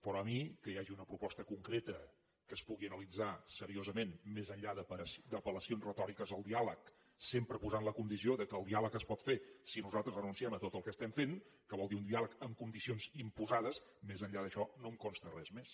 però a mi que hi hagi una proposta concreta que es pugui analitzar seriosament més enllà d’apel·lacions retòriques al diàleg sempre posant la condició que el diàleg es pot fer si nosaltres renunciem a tot el que estem fent que vol dir un diàleg en condicions imposades més enllà d’això no em consta res més